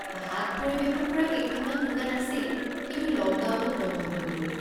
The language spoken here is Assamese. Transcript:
ভাত পৰিৱেশন কৰা কেইখনমান দোকান আছিল, কিন্তু লকডাউনত বন্ধ হৈ গ'ল।